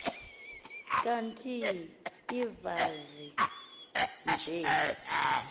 kanti invazi nje